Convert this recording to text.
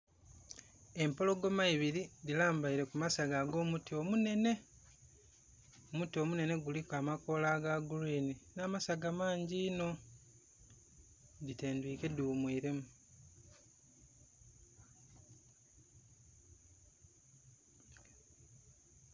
Empologoma ibiri dhi lambaire kumasagga ago muti omunene. Omuti omunene kuliku amakoola aga green na masaga mangi inho. Dhitendwike dhi ghumwilemu